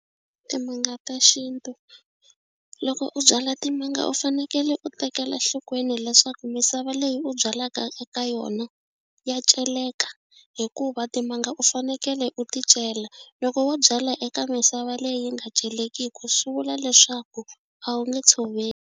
Timanga ta xintu loko u byala timanga u fanekele u tekela enhlokweni leswaku misava leyi u byalaka eka yona ya celeka hikuva timanga u fanekele u ti cela loko wo byala eka misava leyi nga celekiku swi vula leswaku a wu nge tshoveli.